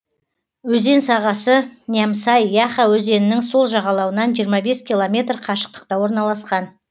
өзен сағасы нямсай яха өзенінің сол жағалауынан жиырма бес километр қашықтықта орналасқан